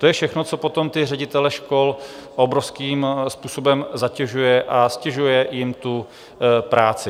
To je všechno, co potom ti ředitelé škol obrovským způsobem zatěžuje a ztěžuje jim tu práci.